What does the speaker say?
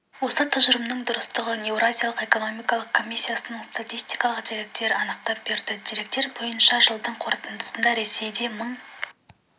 осы тұжырымның дұрыстығын еуразиялық экономикалық комиссияның статистикалық деректері анықтап берді деректер бойынша жылдың қорытындысында ресейде мың